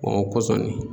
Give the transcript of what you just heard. o kɔsɔn